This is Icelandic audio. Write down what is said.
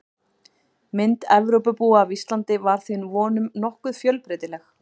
Mynd Evrópubúa af Íslandi var því að vonum nokkuð fjölbreytileg.